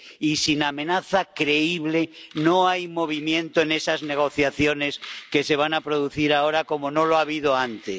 Y sin amenaza creíble, no hay movimiento en esas negociaciones que se van a producir ahora, como no lo ha habido antes.